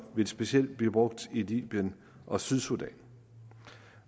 vil specielt blive brugt i libyen og sydsudan